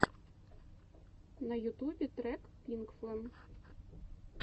на ютубе трек пинкфлэм